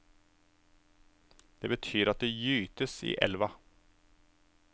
Det betyr at det gytes i elva.